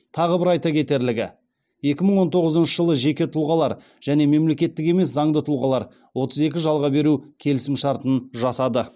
тағы бір айта кетерлігі екі мың он тоғызыншы жылы жеке тұлғалар және мемлекеттік емес заңды тұлғалар отыз екі жалға беру келісім шартын жасады